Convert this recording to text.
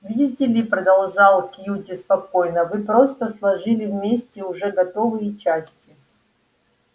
видите ли продолжал кьюти спокойно вы просто сложили вместе уже готовые части